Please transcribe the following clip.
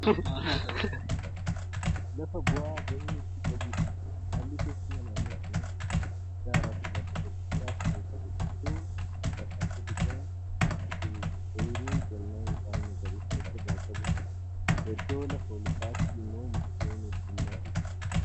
Lafa bu'aa bahii hedduu qabudha. haalli teessumaa naannoo kanaa gaarafi lafa gadi bu'aas Kan qabuudha. iddoo lafa gadi bu'aan jirutti ooyruun qonnaa midhaan magariisa ofirraa qabutu jira. iddoo lafa olka'aatti immoo mukkeen heddummatootu Jira.